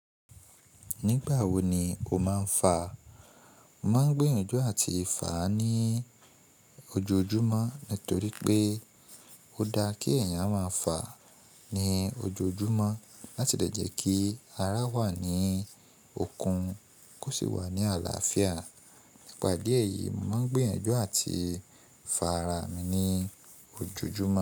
Nígbà wo ni o máa ń fa? Mo máa ń gbé yànjú àti fà ní ojoojúmọ́ nítorí pé ó da kí ẹ̀yàn máa fà ní ojoojúmọ́ láti lè jẹ́ kí ara wà ní okun kó sì wà ní àlàáfíà. Nípa ìdí èyí, mo máa ń gbé yànjú àti fà ara mi ní ojoojúmọ́.